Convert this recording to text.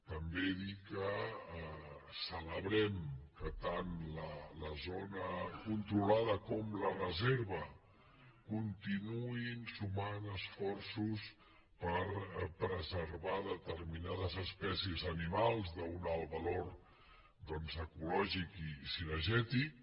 també dir que celebrem que tant la zona controlada com la reserva continuïn sumant esforços per pre·servar determinades espècies animals d’un alt valor doncs ecològic i cinegètic